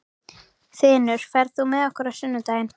Þinur, ferð þú með okkur á sunnudaginn?